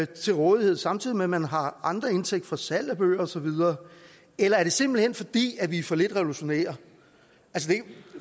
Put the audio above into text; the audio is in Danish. til rådighed samtidig med at man har andre indtægter fra salg af bøger osv eller er det simpelt hen fordi vi er for lidt revolutionære